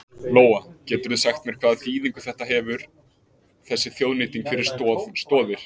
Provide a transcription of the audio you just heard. Lóa: Geturðu sagt mér hvaða þýðingu þetta hefur þessi þjóðnýting fyrir Stoð Stoðir?